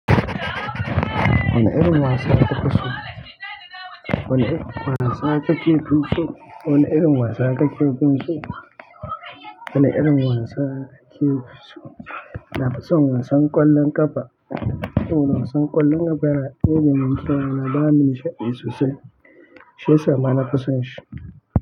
Wane irin wasa kake fin so, wane irin wasa kake so, nafi son wasan ƙwallon ƙafa saboda wasan ƙwallon ƙafa yana ɗebe min kewa yana bani nishaɗi sosai shiyasa ma.